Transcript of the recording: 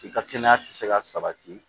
I ka kɛnɛya ti se ka sabati